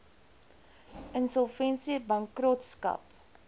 insolvensiebankrotskap